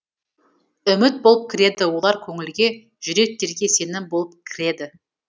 үміт болып кіреді олар көңілге жүректерге сенім болып кіреді